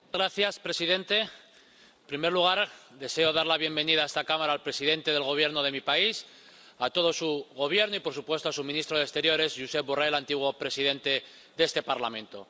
Señor presidente. En primer lugar, deseo dar la bienvenida a esta Cámara al presidente del Gobierno de mi país, a todo su gobierno y, por supuesto, a su ministro de Exteriores, Josep Borrell, antiguo presidente de este Parlamento.